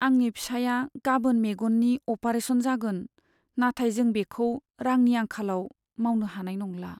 आंनि फिसाइया गाबोन मेगननि अपारेशन जागोन, नाथाय जों बेखौ रांनि आंखालाव मावनो हानाय नंला!